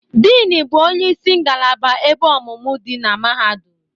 Dean bụ onye isi ngalaba ebe ọmụmụ dị na Mahadum.